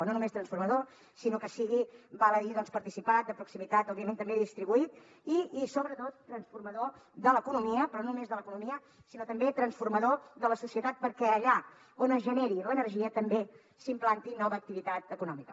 no només transformador sinó que sigui val a dir doncs participat de proximitat òbviament també distribuït i sobretot transformador de l’economia però no només de l’economia sinó també transformador de la societat perquè allà on es generi l’energia també s’implanti nova activitat econòmica